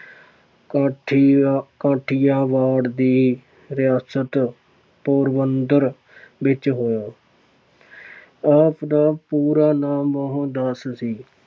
ਕਾਠੀਆ ਕਾਠੀਆਵਾੜ ਦੀ ਰਿਆਸਤ ਪੂਰਬੰਦਰ ਵਿੱਚ ਹੋਇਆ ਆਪ ਦਾ ਪੂਰਾ ਨਾਮ ਮੋਹਨਦਾਸ ਸੀ